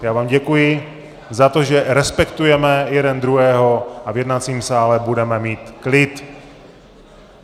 Já vám děkuji za to, že respektujeme jeden druhého a v jednacím sále budeme mít klid.